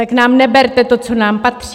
Tak nám neberte to, co nám patří!